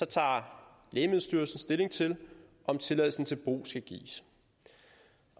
tager lægemiddelstyrelsen stilling til om tilladelsen til brug skal gives